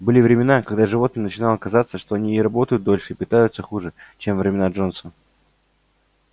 были времена когда животным начинало казаться что они и работают дольше и питаются хуже чем во времена джонса